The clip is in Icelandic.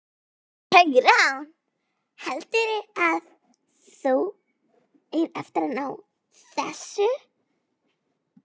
Hugrún: Heldurðu að þú eigir eftir að ná þessu?